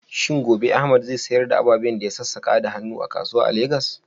Shin gobe Ahmad zai sayar da ababen da ya sassaka da hannu a kasuwa a Legas?